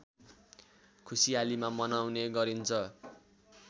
खुसीयालीमा मनाउने गरिन्छ